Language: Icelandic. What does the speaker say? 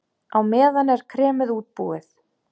Á meðan er kremið útbúið.